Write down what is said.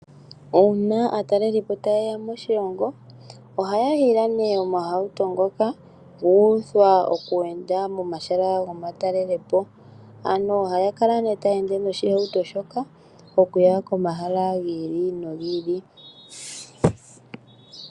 Uuna aatalelipo taya talele po moshilongo ohaya yi ye na omahawuto ngoka guuthwa okukweenda momahala gomatalelepo. Ano ohaya kala ne taya ende noshihawuto shoka okuya komahala giili nogiili.